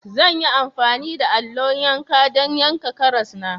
Zan yi amfani da allo yanka don yanka karas na.